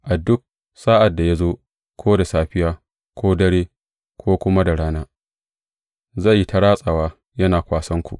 A duk sa’ad da ya zo; ko da safiya, ko dare ko kuma da rana, zai yi ta ratsawa yana kwasanku.